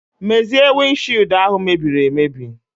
Mezie wind shied ahu mebiri emebi.